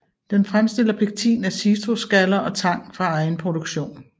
Den fremstiller pektin af citrusskaller og tang fra egen produktion